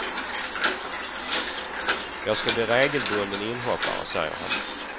Jag ska bli regelbunden inhoppare, säger han.